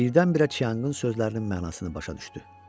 Birdən-birə Çianqın sözlərinin mənasını başa düşdü.